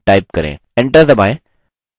enter दबाएँ